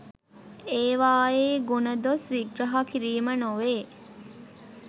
ඒවායේ ගුණදොස් විග්‍රහ කිරීම නොවේ.